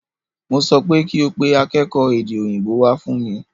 Mo sọ pé kí o pe akékòó èdè òyìnbó wá fún mi!